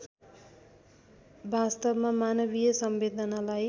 वास्तवमा मानवीय संवेदनालाई